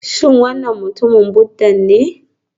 Shin wannan mutumin Buddha ne?